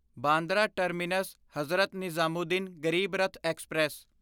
Bandra terminus Hazrat Nizamuddin Garib Rath express